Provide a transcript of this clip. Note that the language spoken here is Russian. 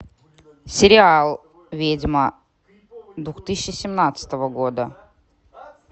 сериал ведьма две тысячи семнадцатого года